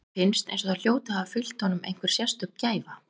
Manni finnst eins og það hljóti að hafa fylgt honum einhver sérstök gæfa.